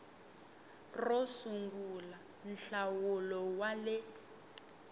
ro sungula nhlawulo wa le